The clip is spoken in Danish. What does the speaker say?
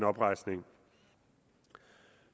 oprejsning